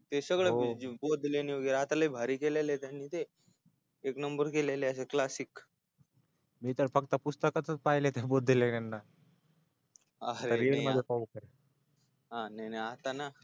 ते सगळे बौद्ध लेण्या ते आता लय भारी केलेलय त्यांनी ते एक number केलेलय classic आरे नाय नाय आता ना